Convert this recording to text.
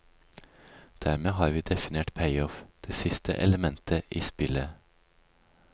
Dermed har vi definert payoff, det siste elementet i spillet.